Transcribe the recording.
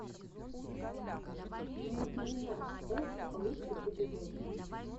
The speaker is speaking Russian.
ники минаж эт лучший эпизод